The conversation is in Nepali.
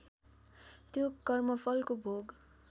त्यो कर्मफलको भोग